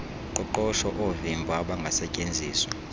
qoqosho oovimba obangasetyenziswa